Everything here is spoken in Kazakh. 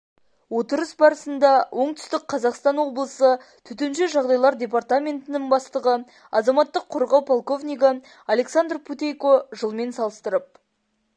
отырыс барысында оңтүстік қазақстан облысы төтенше жағдайлар департаментінің бастығы азаматтық қорғау полковнигі александр путейко жылмен салыстырып